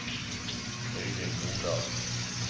Øivind Nordahl